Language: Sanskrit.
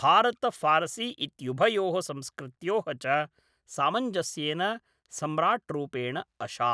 भारत फ़ारसी इत्युभयोः संस्कृत्योः च सामञ्जस्येन सम्राट्रूपेण अशात्।